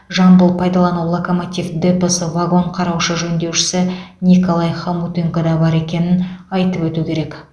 жамбыл пайдалану локомотив депосы вагон қараушы жөндеушісі николай хомутенко да бар екенін айтып өту керек